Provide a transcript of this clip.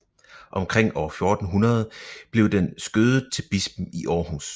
Omkring år 1400 blev den skødet til bispen i Århus